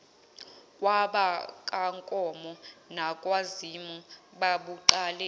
kwabakankomo nakwazimu babuqale